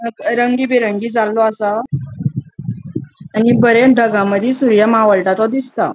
रंगी बिरंगी जालों असा आणि बरे ढगामदि सूर्य मावळता तो दिसता.